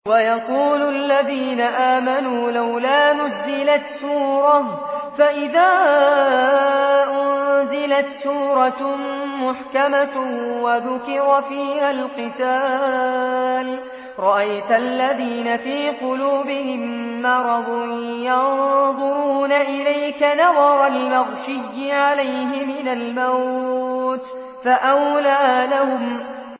وَيَقُولُ الَّذِينَ آمَنُوا لَوْلَا نُزِّلَتْ سُورَةٌ ۖ فَإِذَا أُنزِلَتْ سُورَةٌ مُّحْكَمَةٌ وَذُكِرَ فِيهَا الْقِتَالُ ۙ رَأَيْتَ الَّذِينَ فِي قُلُوبِهِم مَّرَضٌ يَنظُرُونَ إِلَيْكَ نَظَرَ الْمَغْشِيِّ عَلَيْهِ مِنَ الْمَوْتِ ۖ فَأَوْلَىٰ لَهُمْ